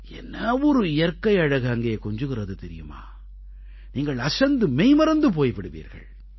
என்ன ஒரு இயற்கை அழகு அங்கே கொஞ்சுகிறது தெரியுமா நீங்கள் அசந்து மெய்மறந்து போய் விடுவீர்கள்